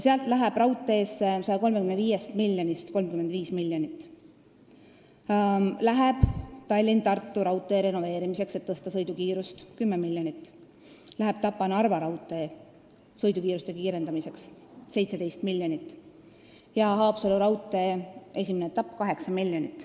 Raudteele on seal 135 miljonist ette nähtud 35 miljonit: Tallinna–Tartu raudtee renoveerimiseks, et suurendada sõidukiirust, läheb 10 miljonit, Tapa–Narva raudteel sõidukiiruse suurendamiseks läheb 17 miljonit ja Haapsalu raudtee esimese etapi jaoks 8 miljonit.